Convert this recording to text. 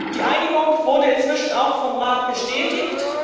Die Einigung wurde inzwischen auch vom Rat bestätigt.